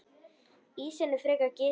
Ísinn er frekar gisinn.